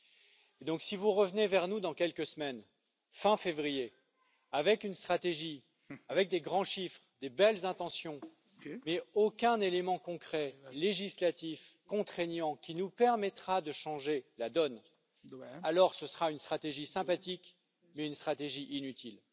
Par conséquent, si vous revenez vers nous dans quelques semaines, fin février, avec une stratégie, avec de grands chiffres, de belles intentions, mais sans aucun élément concret législatif contraignant qui nous permettra de changer la donne, ce sera une stratégie sympathique mais une stratégie inutile.